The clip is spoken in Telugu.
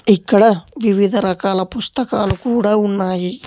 ఇక్కడ వివిధ రకాల పుస్తకాలు కూడా ఉన్నాయి.